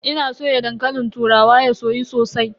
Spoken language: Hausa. Ina soya dankalin turawa ya soyu sosai.